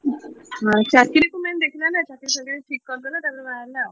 ହଁ ଚାକିରୀକୁ main ଦେଖିଲା ନା ଚାକିରୀ ଫାକିରୀ ସବୁ ଠିକ କରିଦେଲା ତାପରେ ବାହା ହେଲା ଆଉ।